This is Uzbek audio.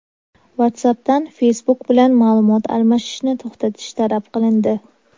WhatsApp’dan Facebook bilan ma’lumot almashishni to‘xtatish talab qilindi.